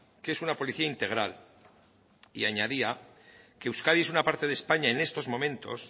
que es una policía integral y añadía que euskadi es una parte de españa en estos momentos